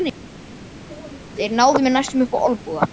Þeir náðu mér næstum upp á olnboga.